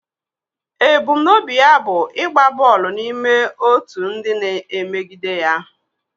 Ebumnobi ya bụ ịgba bọọlụ n'ime otu ndị na-emegide ya.